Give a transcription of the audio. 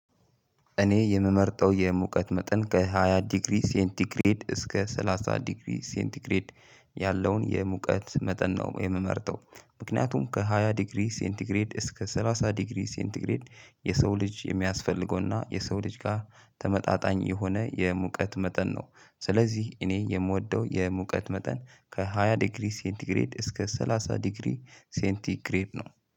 እኔ የምመርጠው የሙቀት መጠን ከሃያ ዲግሪ ሴንቲግሬድ እስከ ሰላሳ ዲግሪ ሴንቲግሬድ ያለውን የሙቀት መጠን ነው የምመርጠው። ምክንያቱም ከሃያ ዲግሪ ሴንቲግሬድ እስከ ሰላሳ ዲግሪ ሴንትግሬድ የሰው ልጅ የሚያስፈልገውና የሰው ልጅ ጋር ተመጣጣኝ የሆነ የሙቀት መጠን ነው። ስለዚህ እኔ የምወደው የሙቀት መጠን ከሃያ ዲግሪ ሴንቲግሬድ እስከ ሰላሳ ዲግሪ ሴንቲግሬድ ነው።